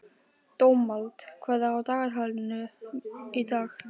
Dómald, hvað er á dagatalinu í dag?